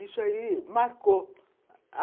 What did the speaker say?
Isso aí marcou.